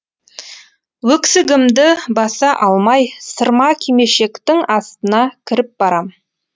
өксігімді баса алмай сырма кимешектің астына кіріп барам